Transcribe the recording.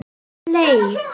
Hún er leið.